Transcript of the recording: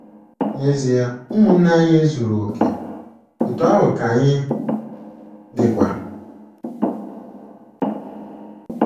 N’ezia, ụmụnne anyị ezuru okè, otú ahụ ka anyị dịkwa.